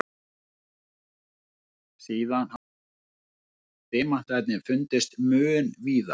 Síðan hafa demantar fundist mun víðar.